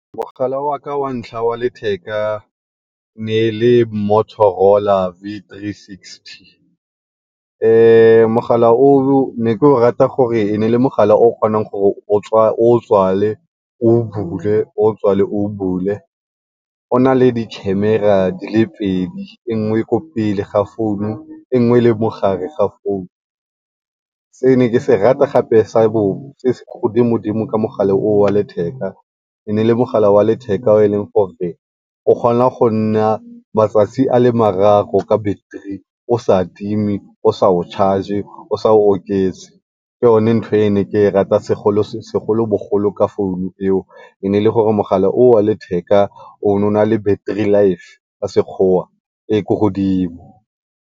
Mogala waka wa ntlha wa letheka ne e le Motorola V360 mogala o o ne ke o rata gore ne e le mogala o ne o kgona gore o o tswale, o o bule, o o tswale o o bule. O na le di-camera di le pedi e nngwe e le ko pele ga founu e nngwe e le mo gare ga founu. Se ne ke se rata gape se se ne le ko godimo-dimo ka mogala o wa letheka, e ne e le mogala wa letheka o e leng gore o kgona go nna matsatsi a le mararo ka battery o sa timi o sa o sa charge o sa oketse. Ke yone ntho e ne ke e rata segolobogolo ka founu eo, e ne e le gore mogala o o wa letheka o ne o na le battery life ka Sekgowa e kwa godimo.